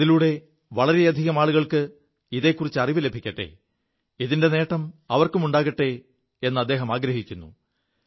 അതിലൂടെ വളരെയധികം ആളുകൾക്ക് ഇതെക്കുറിച്ച് അറിവു ലഭിക്കെ ഇതിന്റെ നേം അവർക്കുമുണ്ടാകെ എ് അദ്ദേഹമാഗ്രഹിക്കുു